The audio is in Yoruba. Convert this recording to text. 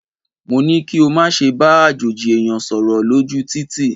Mo ní kí o má ṣe bá àjòjì ẹ̀yàn sọ̀rọ̀ lójú u títì.!